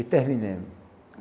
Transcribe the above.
E terminamos.